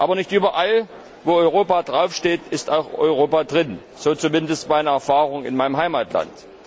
Aber nicht überall, wo Europa draufsteht, ist auch Europa drin, so ist zumindest meine Erfahrung in meinem Heimatland.